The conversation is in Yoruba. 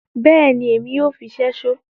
Bẹẹni, Èmi yoo fí ṣẹṣo